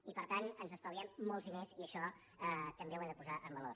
i per tant ens estalviem molts diners i això ho hem de posar en valor